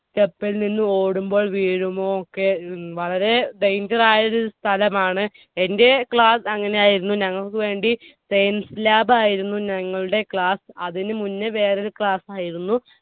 step ൽ നിന്ന് ഓടുമ്പോൾ വീഴുമോ ഒക്കെ. വളരെ danger ആയൊരു സ്ഥലമാണ്. എന്റെ class അങ്ങനെയായിരുന്നു. ഞങ്ങൾക്ക് വേണ്ടി science lab ആയിരുന്നു ഞങ്ങൾടെ class. അതിനു മുന്നെ വേറൊരു class ആയിരുന്നു.